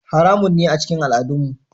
Haramun ne a cikin al'adunmu.